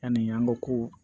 Ani an ko ko